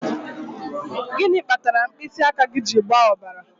Gịnị kpatara mkpịsị aka gị ji agba ọbara?